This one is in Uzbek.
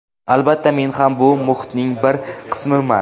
Albatta, men ham bu muhitning bir qismiman.